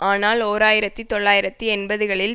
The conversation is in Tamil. ஆனால் ஓர் ஆயிரத்தி தொள்ளாயிரத்தி எண்பதுகளில்